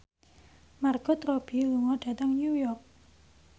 Margot Robbie lunga dhateng New York